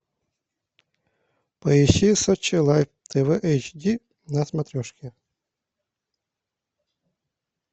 поищи сочи лайф тв эйч ди на смотрешке